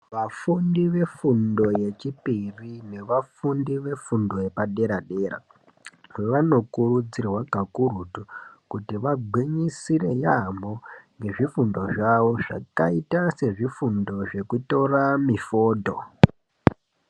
Vafundi vefundo yechipiri nevafundi vefundo yepadera dera vanokurudzirwa kakurutu kuti vagwinyisire yaamho ngefundo zvavo zvakaita sezvifundo zvekutora mifodho.